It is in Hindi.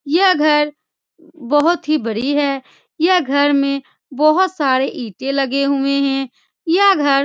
यह घर बहुत ही बड़ी है। यह घर में बोहोत सारी ईटे लगे हुए है यह घर --